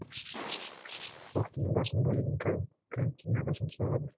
уақытымның басым бөлігін картинаға жұмсалады